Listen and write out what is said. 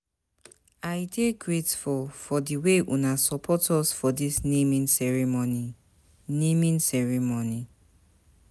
I dey grateful for di way una support us for dis naming ceremony. naming ceremony.